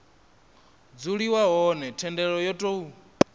dzuliwa hone thendelo yo tou